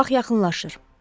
Vaxt yaxınlaşır.